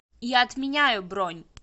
я отменяю бронь